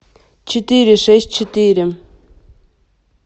четыре шесть четыре